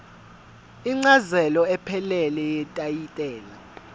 incazelo ephelele yetayitela